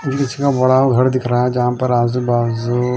जहा पर आजु बाज़ू --